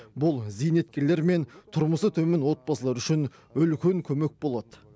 бұл зейнеткерлер мен тұрмысы төмен отбасылар үшін үлкен көмек болады